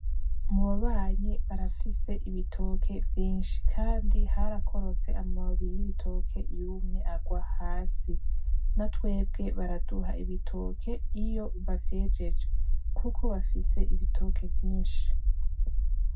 Mu babanyi barafise ibitoke vyinshi kandi harakorotse amababi y’ibitoke yumye agwa hasi, na twebwe baraduha ibitoke iyo bavyejeje kuko bafise ibitoke vyinshi.